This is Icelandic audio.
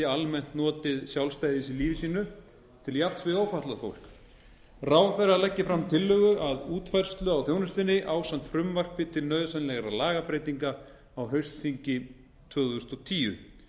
almennt notið sjálfstæðis í lífi sínu til jafns við ófatlað fólk ráðherra leggi fram tillögu að útfærslu á þjónustunni ásamt frumvarpi til nauðsynlegra lagabreytinga á haustþingi tvö þúsund og tíu